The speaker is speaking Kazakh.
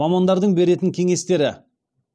мамандардың беретін кеңестері